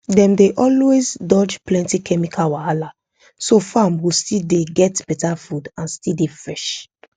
dem dey always dodge plenty chemical wahala so farm go still dey get beta food and still dey fresh